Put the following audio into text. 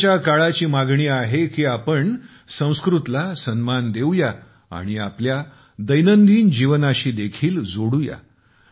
आजच्या काळाची मागणी आहे की आपण संस्कृतला सन्मान देऊ या आणि आपल्या दैनंदिन जीवनाशी देखील जोडू या